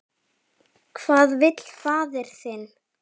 Hvað vill faðir þinn?